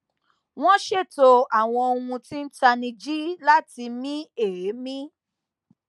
wọn ṣètò àwọn ohun tí n tanijí láti mí èémí